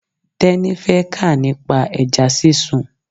Teni fẹ́ kà nípa ẹja sísun.